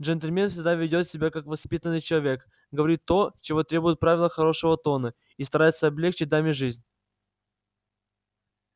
джентльмен всегда ведёт себя как воспитанный человек говорит то чего требуют правила хорошего тона и старается облегчить даме жизнь